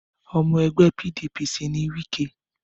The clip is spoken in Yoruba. Ọmọ ẹgbẹ́ PDP sì ni Wike.